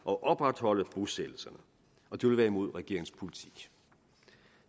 og opretholde bosættelserne og det vil være imod regeringens politik